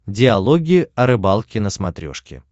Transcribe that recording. диалоги о рыбалке на смотрешке